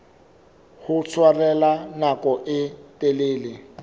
ho tshwarella nako e telele